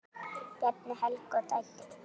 Bjarni, Helga og dætur.